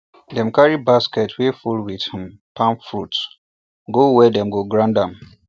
dem carry basket wey full with um palm fruit go where dem go pound am